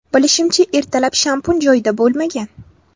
Bilishimcha, ertalab shampun joyida bo‘lmagan.